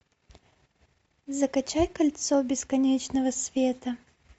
закачай кольцо бесконечного света